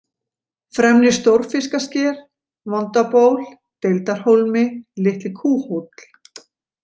Fremri-Stórfiskasker, Vondaból, Deildarhólmi, Litli-Kúhóll